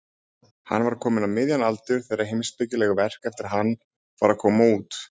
Hann var kominn á miðjan aldur þegar heimspekileg verk eftir hann fara að koma út.